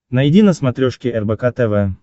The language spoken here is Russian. найди на смотрешке рбк тв